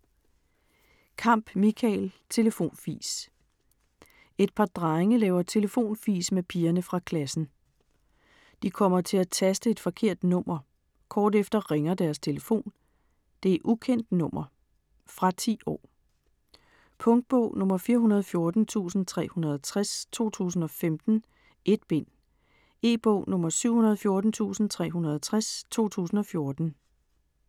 Kamp, Michael: Telefonfis Et par drenge laver telefonfis med pigerne fra klassen. De kommer til at taste et forkert nummer. Kort efter ringer deres telefon. Det er ukendt nummer.. Fra 10 år. Punktbog 414360 2015. 1 bind. E-bog 714360 2014.